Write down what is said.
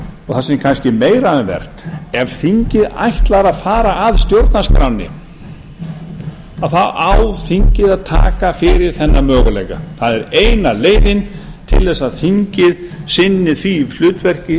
og það sem er kannski meira um vert ef þingið ætlar að fara að stjórnarskránni þá á þingið að taka fyrir þennan möguleika það er eina leiðin til að þingið sinni því hlutverki